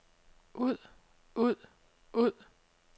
ud ud ud